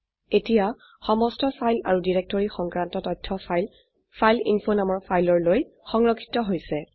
এতিয়া সমস্ত ফাইল আৰু ডিৰেক্টৰী সংক্ৰান্ত তথ্য ফাইল ফাইলএইনফো নামৰ ফাইললৈ সংৰক্ষিত হৈছে